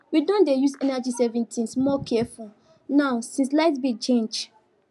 we don dey use energy saving things more careful now since light bill change